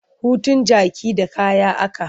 Hutun jaki da kaya a ka.